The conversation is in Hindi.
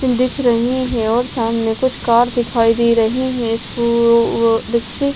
दिख रही है और सामने कुछ कार दिखाई दे रही है इससे --